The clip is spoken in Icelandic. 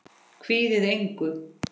Kvíðið engu!